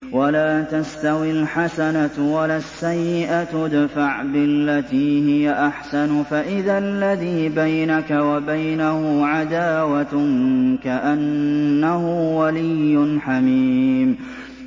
وَلَا تَسْتَوِي الْحَسَنَةُ وَلَا السَّيِّئَةُ ۚ ادْفَعْ بِالَّتِي هِيَ أَحْسَنُ فَإِذَا الَّذِي بَيْنَكَ وَبَيْنَهُ عَدَاوَةٌ كَأَنَّهُ وَلِيٌّ حَمِيمٌ